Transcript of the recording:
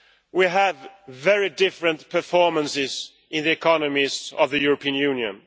We have very different performances in the economies of the European Union.